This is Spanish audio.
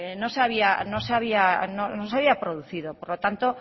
no se había producido por lo tanto